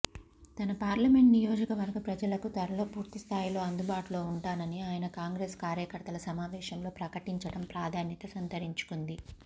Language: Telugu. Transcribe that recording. తన పార్లమెంట్ నియోజకవర్గ ప్రజలకు త్వరలో పూర్తిస్థాయిలో అందుబాటులో ఉంటానని ఆయన కాంగ్రెస్ కార్యకర్తల సమావేశంలో ప్రకటించడం ప్రాధాన్యత సంతరించుకుంది